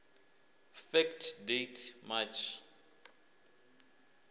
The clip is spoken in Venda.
fact date march